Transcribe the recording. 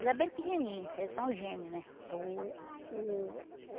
Ele é bem pequenininho, eles são gêmeos, né? Uh uh